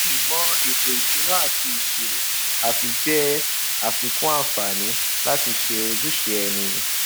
ìmò ètò ìsúná ati ìṣírò àfi jẹ afíkún àǹfààní láti ṣe ojúṣe ẹni